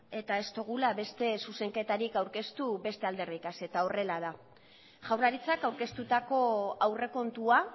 eta ez dugula beste zuzenketarik aurkeztu beste alderdiekin eta horrela da jaurlaritzak aurkeztutako aurrekontua